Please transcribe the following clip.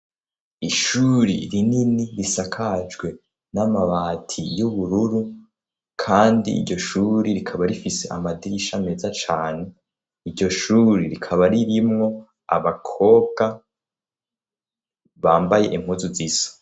Ishure rinini risakajwe n'amabati y'ubururu kandi iryo shure rikaba rifise amadirisha meza cane. Iryo shure rikaba ririmwo abakobwa bambaye impuzu ziza.